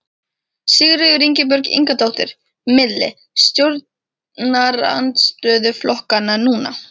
Sigríður Ingibjörg Ingadóttir: Milli stjórnarandstöðuflokkanna núna?